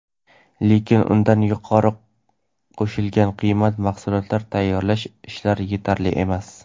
Lekin undan yuqori qo‘shilgan qiymatli mahsulotlar tayyorlash ishlari yetarli emas.